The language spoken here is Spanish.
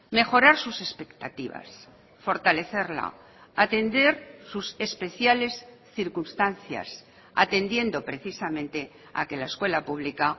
mejorar sus expectativas fortalecerla atender sus especiales circunstancias atendiendo precisamente a que la escuela pública